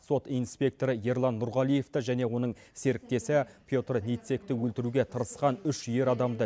сот инспекторы ерлан нұрғалиевті және оның серіктесі петр ницекті өлтіруге тырысқан үш ер адамды